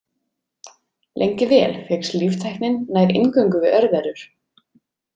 Lengi vel fékkst líftæknin nær eingöngu við örverur.